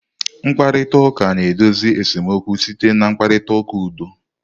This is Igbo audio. Mkparịta ụka na-edozi esemokwu site na mkparịta ụka udo